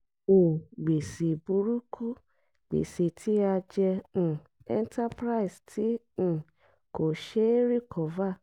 um gbèsè burúkú: gbèsè tí a jẹ um enterprise tí um kò ṣé é recover